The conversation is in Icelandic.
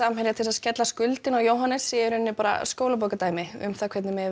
Samherja til að skella skuldinni á Jóhannes skólabókardæmi um hvernig eigi að